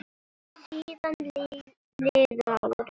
Síðan liðu árin.